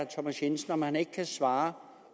thomas jensen om han ikke kan svare